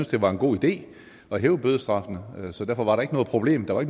det var en god idé at hæve bødestraffen så derfor var der ikke noget problem der var